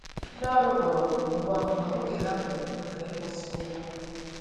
Ndi ọrụ kpọrọ oku ngwa ngwa oge ha nụrụ maka ikwusi ụgwọ ọnwa.